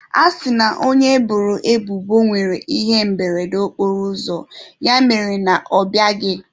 A sị na onye eboro ebubo nwere ihe mberede okporoụzọ, ya mere na ọ bịaghị.